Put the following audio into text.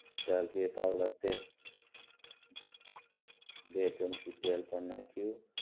ચાલ બે પાવડા તેલ બે ચમચી તેલ પણ નાખ્યું